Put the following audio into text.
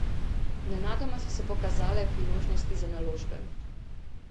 Nenadoma so se pokazale priložnosti za naložbe.